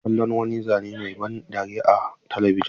Muna kallon wani zane mai ban dariya a talabijin.